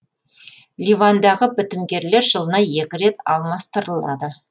ливандағы бітімгерлер жылына екі рет алмастырылады